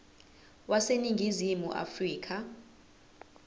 wase ningizimu afrika